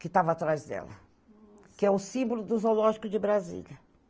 que estava atrás dela, que é o símbolo do zoológico de Brasília.